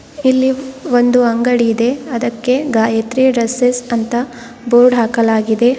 ಇಲ್ಲಿ ಒಂದು ಅಂಗಡಿ ಇದೆ ಅದಕ್ಕೆ ಗಾಯತ್ರಿ ಡ್ರೆಸ್ಸೆಸ್ ಅಂತ ಬೋರ್ಡ್ ಹಾಕಲಾಗಿದೆ ಹಾಗ್--